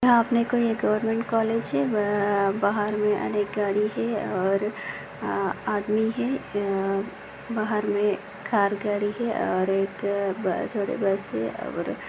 यहाँ मे कोई गव्हरमेन्ट कॉलेज है बाहर मे अनेक गाड़ी है और अ- आदमी है बाहर मे कार गाड़ी है और एक ब-छोटी बस है।